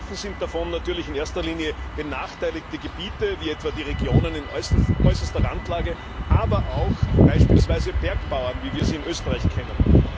Betroffen sind davon natürlich in erster Linie benachteiligte Gebiete, wie etwa die Regionen in äußerster Randlage, aber auch beispielsweise Bergbauern, wie wir sie in Österreich kennen.